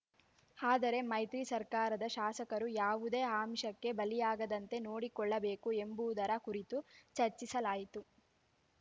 ಆದರೆ ಮೈತ್ರಿ ಸರ್ಕಾರದ ಶಾಸಕರು ಯಾವುದೇ ಅಂಷಕ್ಕೆ ಬಲಿಯಾಗದಂತೆ ನೋಡಿಕೊಳ್ಳಬೇಕು ಎಂಬುದರ ಕುರಿತು ಚರ್ಚಿಸಲಾಯಿತು